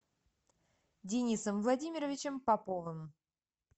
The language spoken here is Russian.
денисом владимировичем поповым